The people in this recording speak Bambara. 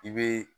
I bɛ